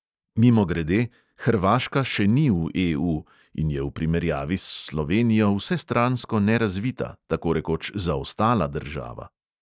Mimogrede – hrvaška še ni v EU in je v primerjavi s slovenijo vsestransko nerazvita, tako rekoč zaostala država.